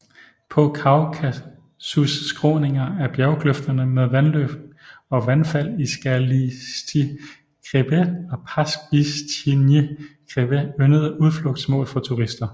På Kaukasus skråninger er bjerkløfterne med vandløb og vandfald i Skalistyj khrebet og Pastbisjtjnyj khrebet yndede udflugtsmål for turister